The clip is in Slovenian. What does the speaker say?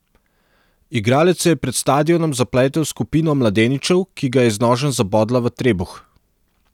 Igralec se je pred stadionom zapletel s skupino mladeničev, ki ga je z nožem zabodla v trebuh.